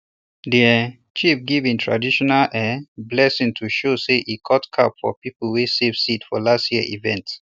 de um chief give um e traditional um blessing to show say e cut cap for people wey save seed for last year event